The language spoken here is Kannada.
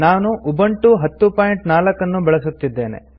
ನಾನು ಉಬಂಟು 1004 ಅನ್ನು ಬಳಸುತ್ತಿದ್ದೇನೆ